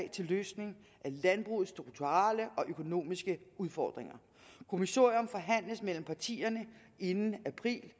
til løsning af landbrugets strukturelle og økonomiske udfordringer kommissorium forhandles mellem partierne inden april